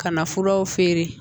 Ka na furaw feere